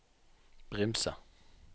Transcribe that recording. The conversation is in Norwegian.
Brimse